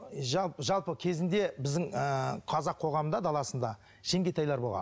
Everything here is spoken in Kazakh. жалпы кезінде біздің ыыы қазақ қоғамында даласында жеңгетайлар болған